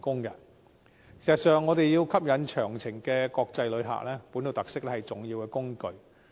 要吸引長程國際旅客，本土特色是重要的工具。